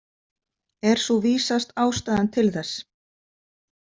Er sú vísast ástæðan til þess.